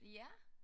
Ja